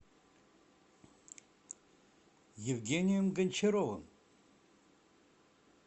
евгением гончаровым